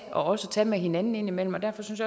også tage med hinanden indimellem og derfor synes